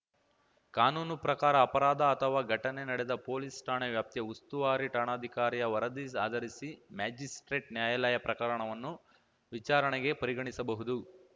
ಕಾನೂನು ಪ್ರಕಾರ ಅಪರಾಧ ಅಥವಾ ಘಟನೆ ನಡೆದ ಪೊಲೀಸ್‌ ಠಾಣೆ ವ್ಯಾಪ್ತಿಯ ಉಸ್ತುವಾರಿ ಠಾಣಾಧಿಕಾರಿಯ ವರದಿ ಆಧರಿಸಿ ಮ್ಯಾಜಿಸ್ಪ್ರೇಟ್‌ ನ್ಯಾಯಾಲಯ ಪ್ರಕರಣವನ್ನು ವಿಚಾರಣೆಗೆ ಪರಿಗಣಿಸಬಹುದು